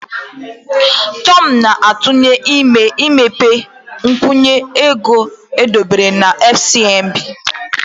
Tom na-atụle imepe nkwụnye ego edobere na FCMB.